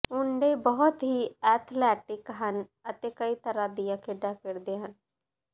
ਮੁੰਡੇ ਬਹੁਤ ਹੀ ਐਥਲੈਟਿਕ ਹਨ ਅਤੇ ਕਈ ਤਰ੍ਹਾਂ ਦੀਆਂ ਖੇਡਾਂ ਖੇਡਦੇ ਹਨ